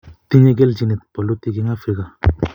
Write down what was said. tinyei kelchinet bolutik eng Afrika